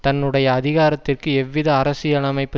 தன்னுடைய அதிகாரத்திற்கு எவ்வித அரசியலமைப்பு